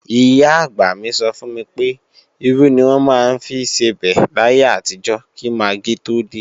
Ìyá-àgbà mi sọ fún mi pé, irú ni wọ́n maá ń fi sebẹ̀ láyé àtijọ́ kí magí tó dé